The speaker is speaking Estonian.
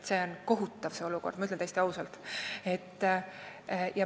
See on kohutav olukord, ütlen täiesti ausalt.